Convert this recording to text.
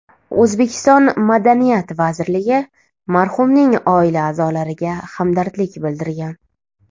O‘zbekiston madaniyat vazirligi marhumning oila a’zolariga hamdardlik bildirgan.